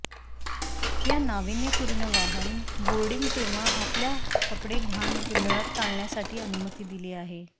या नावीन्यपूर्ण वाहन बोर्डिंग तेव्हा आपल्या कपडे घाण मिळत टाळण्यासाठी अनुमती दिली आहे